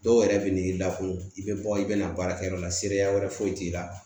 Dɔw yɛrɛ bɛ n'i lakun i bɛ bɔ i bɛ na baarakɛyɔrɔ la seereya wɛrɛ foyi t'i la